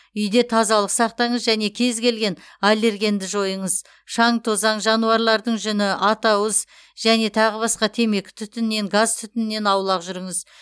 үйде тазалық сақтаңыз және кез келген аллергенді жойыңыз шаң тозаң жануарлардың жүні атауыз және тағы басқа темекі түтінінен газ түтінінен аулақ жүріңіз